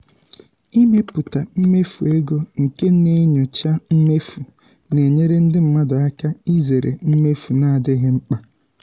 ịmepụta mmefu ego nke na-enyocha mmefu na-enyere ndị mmadụ aka izere mmefu na-adịghị mkpa.